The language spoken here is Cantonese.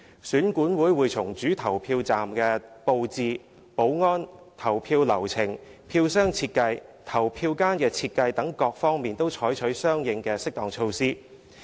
選管會會從主投票站的布置、保安、投票流程、票箱設計、投票間設計等各方面採取相應適當措施。